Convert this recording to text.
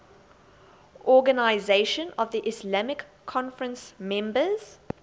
organisation of the islamic conference members